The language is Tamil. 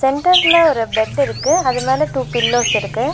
சென்டர்ல ஒரு பெட்டு இருக்கு அது மேல டூ பில்லோஸ் இருக்கு.